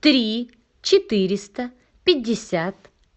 три четыреста пятьдесят